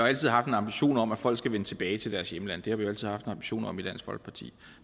altså haft en ambition om at folk skal vende tilbage til deres hjemlande det har vi altid haft en ambition om i dansk folkeparti